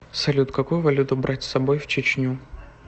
салют какую валюту брать с собой в чечню